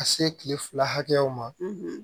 Ka se kile fila hakɛw ma